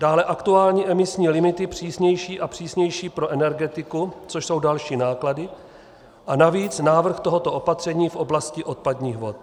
Dále aktuální emisní limity, přísnější a přísnější pro energetiku, což jsou další náklady, a navíc návrh tohoto opatření v oblasti odpadních vod.